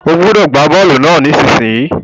O gbúdọ̀ gbá bọ́lù náà nísinsìn yìí